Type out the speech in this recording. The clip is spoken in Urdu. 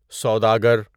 سوداگر